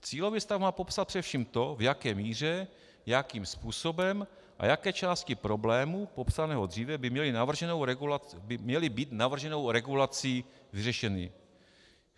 Cílový stav má popsat především to, v jaké míře, jakým způsobem a jaké části problému popsaného dříve by měly být navrženou regulací vyřešeny.